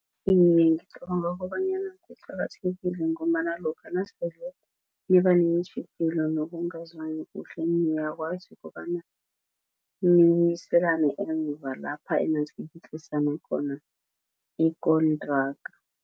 Ngicabanga kobanyana kuqakathekile ngombana lokha nasele niba neentjhijilo nokungazwani kuhle niyakwazi ukobana emva lapha enatlikitlisana khona ikontraga.